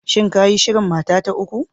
Shin ka yi shirin mata ta uku?